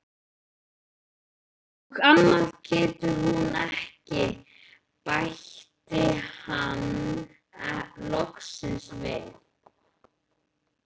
Og annað getur hún ekki, bætti hann loksins við.